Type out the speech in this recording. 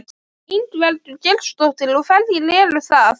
Ingveldur Geirsdóttir: Og hverjir eru það?